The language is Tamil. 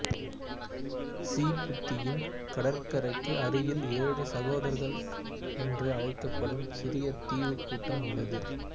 சீபூத்தியின் கடற்கரைக்கு அருகில் ஏழு சகோதரர்கள் என்று அழைக்கப்படும் சிறிய தீவுக் கூட்டம் உள்ளது